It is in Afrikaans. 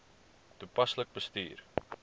toepaslik bestuur